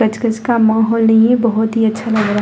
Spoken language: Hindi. कच-कच का माहौल नहीं है बहुत ही अच्छा लग रहा है।